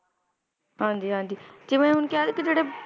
ਹਾਂਜੀ ਹਾਂਜੀ ਕਿਵੇਂ ਹੁਣ ਕਿਹਾ ਨੀ ਕਿ ਜਿਹੜੇ